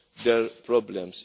their problems.